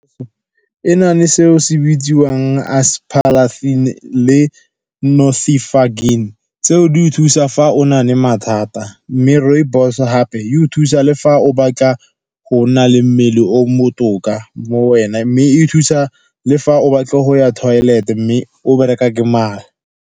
E na le seo se bitsiwang aspalathin le . Tseo di thusa fa o na le mathata, mme rooibos gape e thusa le fa o batla go na le mmele o botoka mo wena. Mme e thusa le fa o batla go ya toilet-e mme o bereka ke mala.